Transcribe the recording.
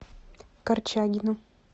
корчагину